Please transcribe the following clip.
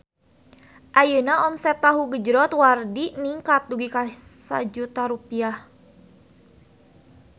Ayeuna omset Tahu Gejrot Wardi ningkat dugi ka 1 juta rupiah